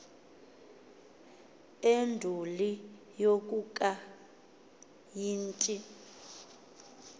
enduli yokakayi t